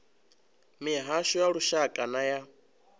mihasho ya lushaka na ya